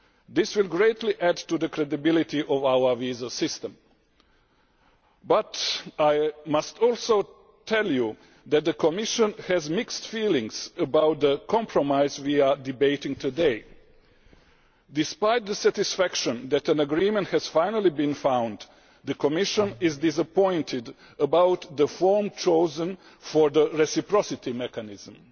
This will greatly add to the credibility of our visa system, but I must also tell you that the Commission has mixed feelings about the compromise we are debating today. Despite the satisfaction that an agreement has finally been found, the Commission is disappointed about the form chosen for the reciprocity mechanism.